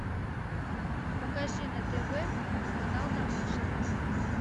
покажи на тв канал домашний